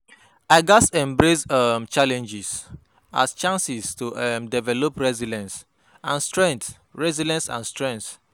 I gats embrace um challenges as chances to um develop resilience and strength, resilence and strengh.